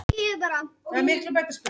Nei ég get nú ekki sagt það.